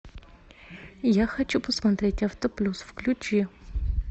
я хочу посмотреть автоплюс включи